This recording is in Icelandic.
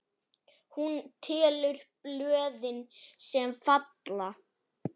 Hún telur blöðin, sem falla.